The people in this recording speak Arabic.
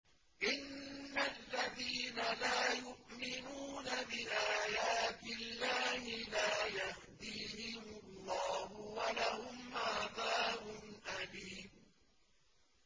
إِنَّ الَّذِينَ لَا يُؤْمِنُونَ بِآيَاتِ اللَّهِ لَا يَهْدِيهِمُ اللَّهُ وَلَهُمْ عَذَابٌ أَلِيمٌ